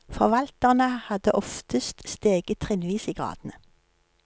Forvalterne hadde oftest steget trinnvis i gradene.